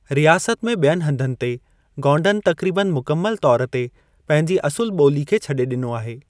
रियासत में ॿियनि हंधनि ते, गोंडनि तक़रीबनि मुकमिलु तौर ते पंहिंजी असुलु ॿोली खे छॾे ॾिनो आहे।